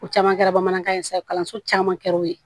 U caman kɛra bamanankan ye salati caman kɛra o ye